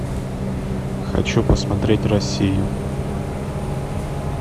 хочу посмотреть россию